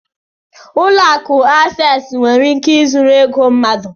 Ụlọ akụ Access nwere ike zuru ego mmadụ